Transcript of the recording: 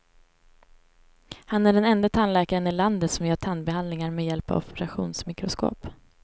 Han är den ende tandläkaren i landet som gör tandbehandlingar med hjälp av operationsmikroskop.